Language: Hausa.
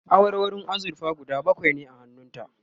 awarwarun azurfa guda bakwai ne a hannun ta